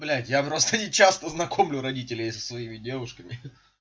блять я просто не часто знакомлю родителей со своими девушками